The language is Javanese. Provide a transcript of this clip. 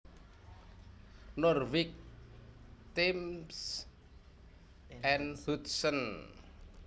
Norwich Thames and Hudson